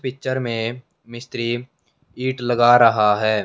Picture में मिस्त्री ईंट लगा रहा है।